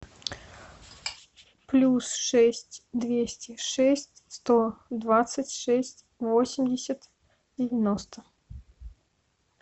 плюс шесть двести шесть сто двадцать шесть восемьдесят девяносто